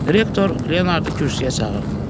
Direktor Leonardı kürsüyə çağırdı.